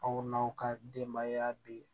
Aw n'aw ka denbaya bi